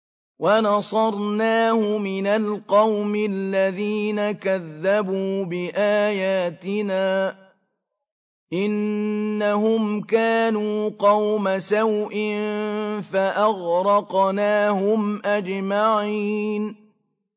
وَنَصَرْنَاهُ مِنَ الْقَوْمِ الَّذِينَ كَذَّبُوا بِآيَاتِنَا ۚ إِنَّهُمْ كَانُوا قَوْمَ سَوْءٍ فَأَغْرَقْنَاهُمْ أَجْمَعِينَ